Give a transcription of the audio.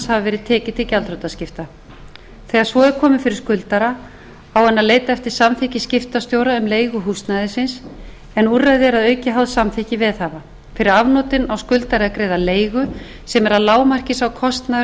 hafi verið tekið til gjaldþrotaskipta þegar svo er komið fyrir skuldara á hann að leita eftir samþykki skiptastjóra um leigu húsnæðisins en úrræði eru að auki háð samþykki veðhafa fyrir afnotin á skuldari að greiða leigu sem er að lágmarki sá kostnaður